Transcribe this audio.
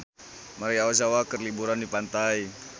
Maria Ozawa keur liburan di pantai